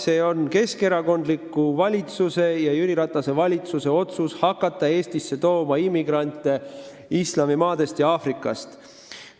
See on keskerakondliku valitsuse, Jüri Ratase valitsuse otsus hakata Eestisse tooma immigrante islamimaadest ja Aafrikast.